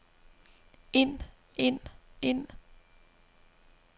ind ind ind